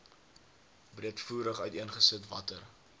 breedvoerig uiteengesit watter